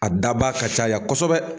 A dabaa ka caya kosɛbɛ